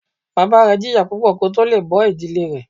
Bàbá rẹ jìyà púpọ̀ kó tó le è bó ìdílé rẹ̀